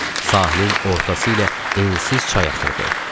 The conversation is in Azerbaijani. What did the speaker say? Sahilin ortası ilə ensiz çay axırdı.